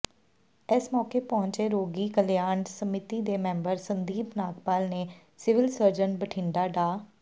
ਇਸ ਮੌਕੇ ਪਹੁੰਚੇ ਰੋਗੀ ਕਲਿਆਣ ਸਮਿਤੀ ਦੇ ਮੈਂਬਰ ਸੰਦੀਪ ਨਾਗਪਾਲ ਨੇ ਸਿਵਲ ਸਰਜਨ ਬਠਿੰਡਾ ਡਾ